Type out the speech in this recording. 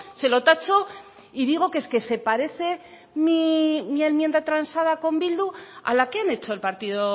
se lo tacho y digo que es que se parece mi enmienda transada con bildu a la que han hecho el partido